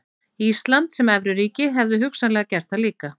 Ísland sem evruríki hefðu hugsanlega gert það líka.